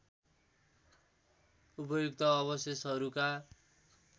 उपर्युक्त अवशेषहरूका